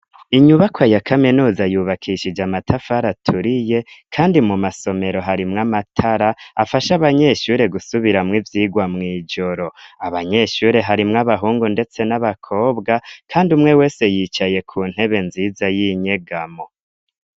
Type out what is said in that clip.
iInyubakwa ya kaminuza yubakishije amatafari aturiye, kandi mu masomero harimwo amatara afasha abanyeshure gusubiramwo ivyirwa mu ijoro. Abanyeshure harimwo abahungu ndetse n'abakobwa kandi umwe wese yicaye ku ntebe nziza y'inyegamo.